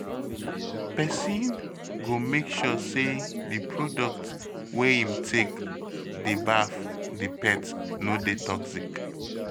Person go make sure sey di product wey im take dey baff di pet no dey toxic